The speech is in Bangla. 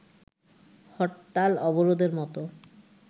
হরতাল, অবরোধের মতো